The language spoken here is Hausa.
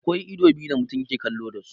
Akwa ido biyu da mutum yake kallo dasu.